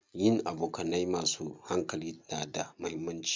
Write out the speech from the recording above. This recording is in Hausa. Yin abokanai masu hankali na da muhimmanci.